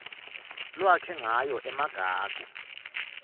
lwakhe ngayo emagugu